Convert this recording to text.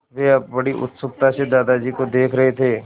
वे बड़ी उत्सुकता से दादाजी को देख रहे थे